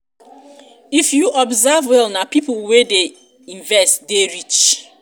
if you observe well na pipo wey dey invest dey rich.